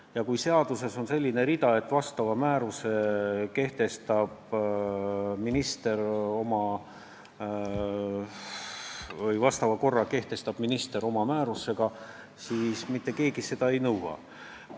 Ja kui seaduses on selline rida, et mingi korra kehtestab minister oma määrusega, siis mitte keegi pole seda määrust näha nõudnud.